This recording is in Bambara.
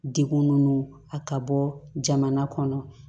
Degun ninnu a ka bɔ jamana kɔnɔ